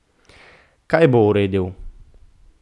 Kaj bo uredil?